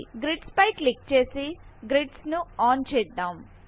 grids ఫై click చే సి గ్రిడ్స్ ను ఆన్ చేద్దాం